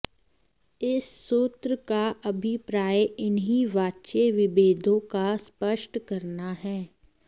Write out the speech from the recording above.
इस सूत्र का अभिप्राय इन्ही वाच्य विभेदों को स्पष्ट करना है